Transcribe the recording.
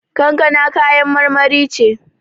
Kankana kayan marmari ce.